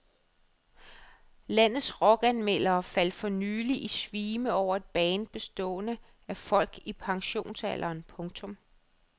Landets rockanmeldere faldt for nyligt i svime over et band bestående af folk i pensionsalderen. punktum